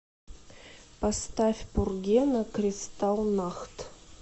поставь пургена кристал нахт